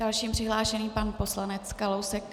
Další přihlášený, pan poslanec Kalousek.